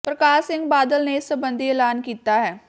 ਪ੍ਰਕਾਸ਼ ਸਿੰਘ ਬਾਦਲ ਨੇ ਇਸ ਸਬੰਧੀ ਐਲਾਨ ਕੀਤਾ ਹੈ